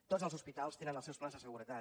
tots els hospitals tenen els seus plans de seguretat